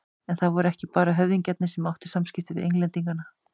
En það voru ekki bara höfðingjarnir sem áttu samskipti við Englendinga.